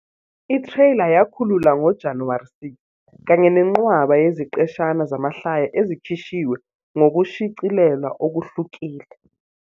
I-trailer yakhululwa ngoJanuwari 6, kanye nenqwaba yeziqeshana zamahlaya ezikhishwe ngokushicilelwa okuhlukile.